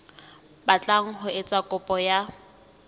batlang ho etsa kopo ya